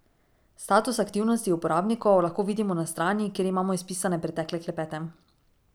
Status aktivnosti uporabnikov lahko vidimo na strani, kjer imamo izpisane pretekle klepete.